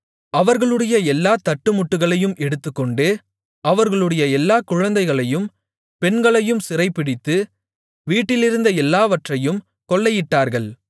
அவர்களுடைய எல்லாத் தட்டுமுட்டுகளையும் எடுத்துக்கொண்டு அவர்களுடைய எல்லாக் குழந்தைகளையும் பெண்களையும் சிறைபிடித்து வீட்டிலிருந்த எல்லாவற்றையும் கொள்ளையிட்டார்கள்